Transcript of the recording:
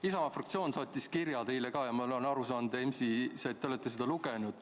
Isamaa fraktsioon saatis teile kirja, see on ka EMS-is ja ma olen aru saanud, et te olete seda lugenud.